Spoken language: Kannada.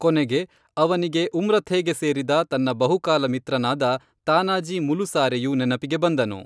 ಕೊನೆಗೆ ಅವನಿಗೆ ಉಮ್ರಥೇಗೆ ಸೇರಿದ ತನ್ನ ಬಹುಕಾಲ ಮಿತ್ರನಾದ ತಾನಾಜೀ ಮುಲುಸಾರೆಯು ನೆನಪಿಗೆ ಬಂದನು